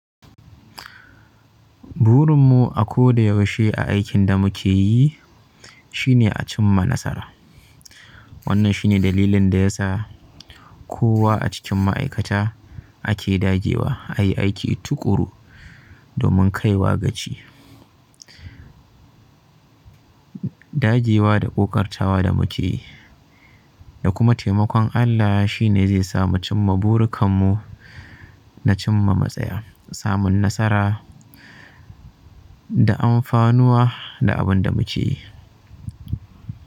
Burin mu a ko da yaushe a aikin da muke yi shine a cimma nasara. Wannan shine dalilin da ya sa kowa a cikin ma'aikata ake dage wa a yi aiki tuƙuru domin kaiwa ga ci. Dage wa da ƙoƙartawa da muke yi da kuma taimakon Allah shi ne zai sa mu cimma burukan mu na cimma matsaya, samun nasara da amfanuwa da abin da muke yi.